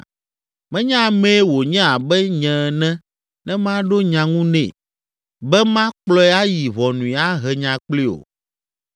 “Menye amee wònye abe nye ene ne maɖo nya ŋu nɛ, be makplɔe ayi ʋɔnui ahe nya kplii o.